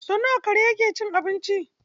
Sau nawa kare yake cin abinci?